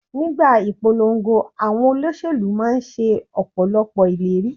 Nígbà ìpolongo, àwọn olóṣèlú máa ń ṣe Ọ̀pọ̀lọ́pọ̀ ìlérí.